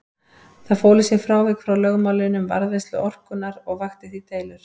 Það fól í sér frávik frá lögmálinu um varðveislu orkunnar og vakti því deilur.